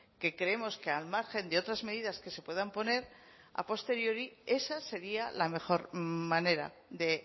que creemos que al margen de otras medidas que se puedan poner a posteriori esa sería la mejor manera de